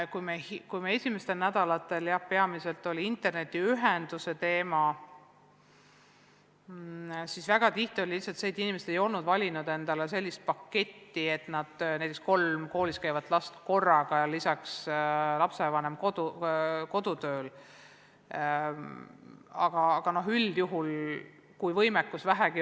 Kui meil esimestel nädalatel oli laual peamiselt internetiühenduse teema, siis väga tihti oli põhjuseks lihtsalt see, et inimesed ei olnud valinud endale sellist paketti, mis sobiks olukorras, kus seda kasutavad korraga näiteks kolm koolis käivat last ja kodus töötav lapsevanem.